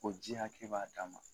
O ji hakɛ b'a dan ma